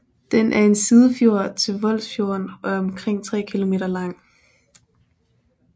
Den er en sidefjord til Voldsfjorden og er omkring tre kilometer lang